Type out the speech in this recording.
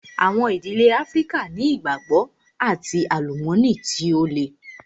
Àwọn ìdílé Áfríkà ni ìgbàgbọ́ and àlùmọ́nì tí ó le.